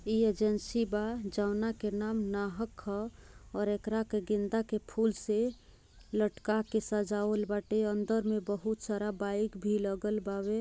इ एजेंसी बा जोना के नाम नहक ह और एकरा के गेंदा के फूल से लटका के सजावल बाटे अन्दर में बहुत सारा बाईक भी लगलवा बावे।